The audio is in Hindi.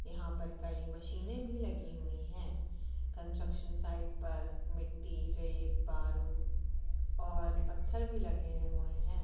यहां पर कई मशीने भी लगी हुई है कन्स्ट्रक्शन साइड पर मिट्टी रेत बारू और पत्थर भी लगे हुए हैं ।